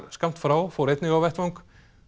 skammt frá fór einnig á vettvang